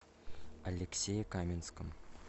алексее каменском